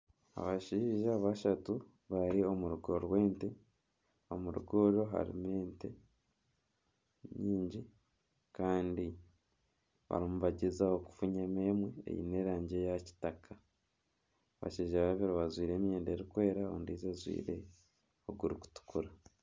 Abashaija bashatu bari omu rugo rw'ente. Omu rugo oru harimu ente nyingi kandi barimu nibagyezaho kufunya mu emwe ey'erangi ya kitaka. Abashaija babiri bajwire emyenda erikweera, ondijo ajwire oguri kutukura.